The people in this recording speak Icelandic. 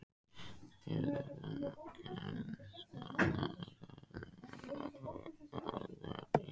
skyldu samkvæmt skatta-, tolla- og atvinnulöggjöf.